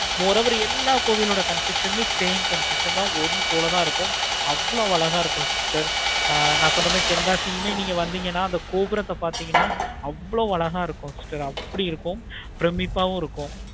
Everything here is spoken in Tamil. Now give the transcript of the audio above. more over எல்லா கோவில் ஓட same ஒன்னு போல தான் இருக்கும். அவ்வளோ அழகா இருக்கும். sister நான் சென்னை மாதிரி தென்காசியுமே நீங்க வந்திங்கனா கோபுரத்தை பார்த்தீங்கன்னா அவ்வளோ அழகா இருக்கும் sister அப்படி இருக்கும் பிரமிப்பவு இருக்கும்.